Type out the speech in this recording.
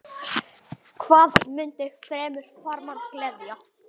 Hvað mundi fremur farmann gleðja?